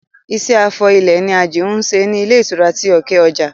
Iṣẹ́ afọ ilẹ̀ ni Àjìún ń ṣe ní ilé ìtura ti òkè ọjà